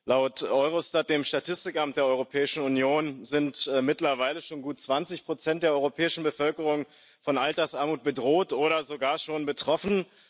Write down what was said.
Laut Eurostat, dem Statistikamt der Europäischen Union, sind mittlerweile schon gut zwanzig Prozent der europäischen Bevölkerung von Altersarmut bedroht oder sogar schon betroffen.